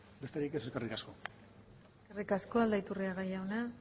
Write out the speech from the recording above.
besterik ez eskerrik asko eskerrik asko aldaiturriaga jauna